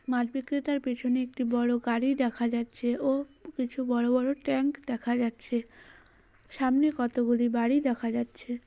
মাছ বিক্রেতার পিছনে একটি বড়ো গাড়ি দেখা যাচ্ছে ও কিছু বড়ো বড়ো ট্রাঙ্ক দেখা যাচ্ছে সামনে কতোগুলি বাড়ি দেখা যাচ্ছে।